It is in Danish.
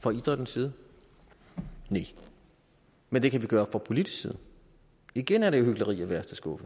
fra idrættens side næ men det kan vi gøre fra politisk side og igen er det jo hykleri af værste skuffe